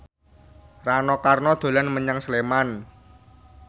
Rano Karno dolan menyang Sleman